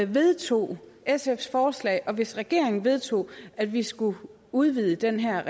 vedtog sfs forslag og hvis regeringen vedtog at vi skulle udvide den her